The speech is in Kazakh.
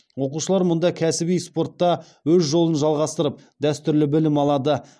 оқушылар мұнда кәсіби спортта өз жолын жалғастырып дәстүрлі білім алады